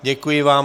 Děkuji vám.